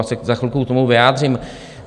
Já se za chvilku k tomu vyjádřím.